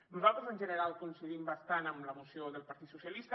nosaltres en general coincidim bastant amb la moció del partit socialista